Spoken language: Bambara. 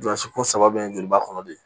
Jɔsi kun saba bɛ n joliba kɔnɔ de